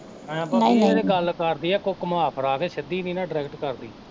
ਹੈਅ ਭਾਬੀ ਇਹ ਤੇ ਗੱਲ ਕਰਦੀ ਆ ਘੁ ਘੁੰਮਾ ਫਿਰਾ ਕੇ ਸਿੱਧੀ ਨੀ ਨਾ ਡਾਇਰੇਕਟ ਕਰਦੀ।